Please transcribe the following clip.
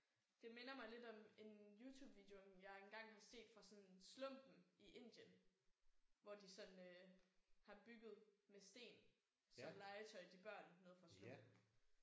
Det minder mig lidt om en YouTubevideo jeg engang har set fra sådan slumpen i Indien. Hvor de sådan har bygget med sten som legetøj til børn nede fra slumpen